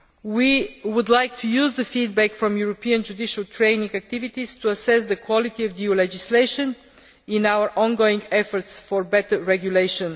We would like to use the feedback from European judicial training activities to assess the quality of EU legislation in our ongoing efforts for better regulation.